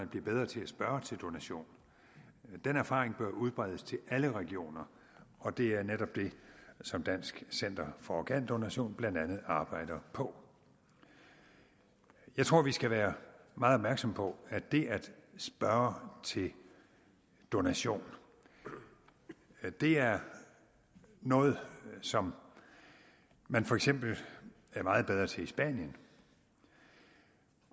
blev bedre til at spørge til donation den erfaring bør udbredes til alle regioner og det er netop det som dansk center for organdonation blandt andet arbejder på jeg tror vi skal være meget opmærksomme på at det at spørge til donation er noget som man for eksempel er meget bedre til i spanien